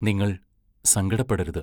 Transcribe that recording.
നിങ്ങൾ സങ്കടപ്പെടരുത്.